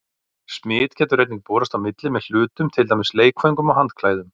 Smit getur einnig borist á milli með hlutum, til dæmis leikföngum og handklæðum.